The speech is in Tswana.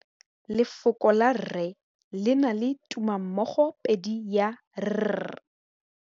Lefoko la rre, le na le tumammogôpedi ya, r.